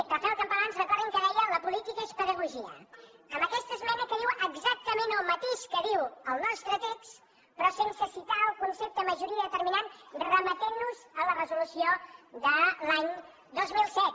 rafael campalans recordin que deia la política és pedagogia amb aquesta esmena que diu exactament el mateix que diu el nostre text però sense citar el concepte majoria determinant i ens remet a la resolució de l’any dos mil set